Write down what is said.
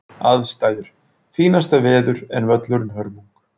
Aðstæður: Fínasta veður en völlurinn hörmung.